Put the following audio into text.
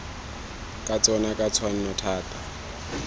ka tsona ka tshwanno thata